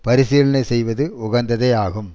பரிசீலனை செய்வது உகந்ததேயாகும்